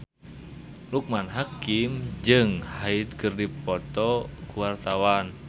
Loekman Hakim jeung Hyde keur dipoto ku wartawan